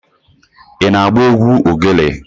Ị na-agba egwu ogelè?